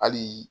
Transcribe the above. Hali